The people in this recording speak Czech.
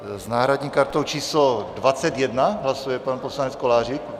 S náhradní kartou číslo 21 hlasuje pan poslanec Kolářík?